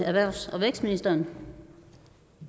ministeren